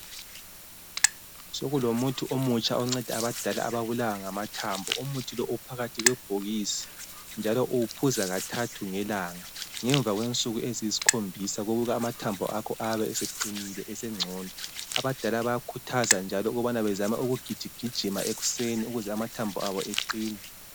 Sekulomuthi omutsha onceda abadala ababulawa ngamathambo. Umuthi lo uphakathi kwebhokisi njalo uwuphuza kathathu ngelanga. Ngemva kwensuku eziyisikhombisa kubikwa amathambo akho ayabe eseqinile esengcono. Abadala bayakhuthaza njalo ukubana bezame ukugijigijima ekuseni ukuze amathambo abo eqine.